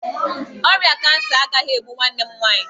Ọrịa kansa agaghị egbu nwanne m nwaanyị.